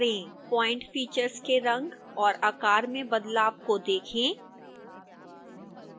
point features के रंग और आकार में बदलाव को देखें